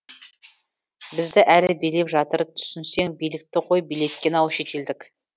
бізді әлі билеп жатыр түсінсең билікті ғой билеткен ау шетелдік